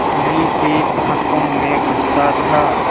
धनी की आँखों में गुस्सा था